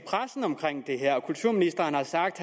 pressen om det her og kulturministeren har sagt